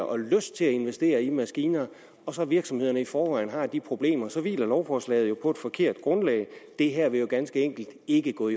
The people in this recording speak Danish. og lyst til at investere i maskiner når virksomhederne i forvejen har de problemer for så hviler lovforslaget jo på et forkert grundlag det her vil jo ganske enkelt ikke kunne